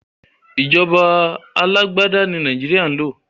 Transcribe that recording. Ìjọba alágbádá ní Nàìjéríà ń lò.